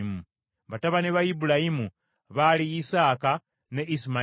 Batabani ba Ibulayimu baali Isaaka ne Isimayiri.